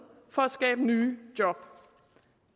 for at skabe nye job